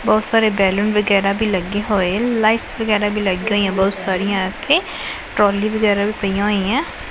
ਬਹੁਤ ਸਾਰੇ ਬੈਲੂਨ ਵਗੈਰਾ ਵੀ ਲੱਗੀ ਹੋਏ ਲਾਈਟਸ ਵਗੈਰਾ ਵੀ ਲਾਈ ਆ ਬਹੁਤ ਸਾਰੀਆਂ ਇਥੇ ਟਰੋਲੀ ਵਗੈਰਾ ਵੀ ਪਈਆਂ ਹੋਈਆਂ ਏ।